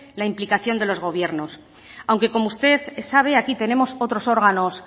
la implicación de los gobiernos aunque como usted sabe aquí tenemos otros órganos